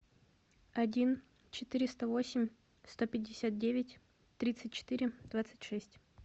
один четыреста восемь сто пятьдесят девять тридцать четыре двадцать шесть